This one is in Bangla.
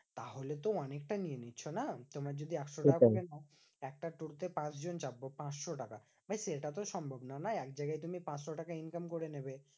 তাহলে তো অনেকটা নিয়ে নিচ্ছো না? তোমার যদি একশো টাকা করে নাও একটা টোটো তে পাঁচ জন যাবো পাঁচশো টাকা। ভাই সেটা তো সম্ভবনা না? একজায়গায় তুমি পাঁচশো টাকা income করে নেবে